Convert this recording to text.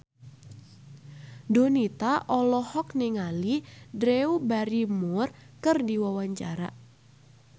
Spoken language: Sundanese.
Donita olohok ningali Drew Barrymore keur diwawancara